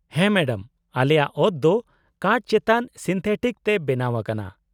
-ᱦᱮᱸ ᱢᱮᱰᱟᱢ, ᱟᱞᱮᱭᱟᱜ ᱚᱛ ᱫᱚ ᱠᱟᱴᱷ ᱪᱮᱛᱟᱱ ᱥᱤᱱᱛᱷᱮᱴᱤᱠ ᱛᱮ ᱵᱮᱱᱟᱣ ᱟᱠᱟᱱᱟ ᱾